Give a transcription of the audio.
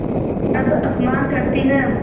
अब अपमान करतीं हैं